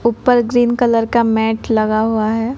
ऊपर green colour का mat लगा हुआ है।